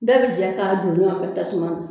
Bɛɛ bi jɛ k'a don ɲɔn fɛ tasuma na